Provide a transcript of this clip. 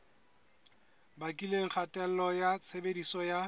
bakileng kgatello ya tshebediso ya